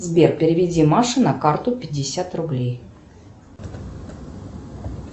сбер переведи маше на карту пятьдесят рублей